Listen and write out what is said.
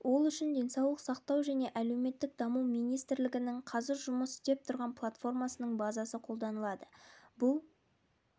ол үшін денсаулық сақтау және әлеуметтік даму министрлігінің қазір жұмыс істеп тұрған платформасының базасы қолданылады бұл